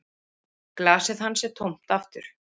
Glasið hans er tómt aftur